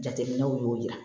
Jateminɛw y'o yira